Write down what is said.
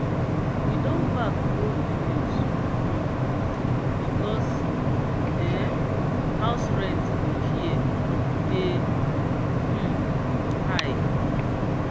we don pack go village um because um house rent for here dey um high.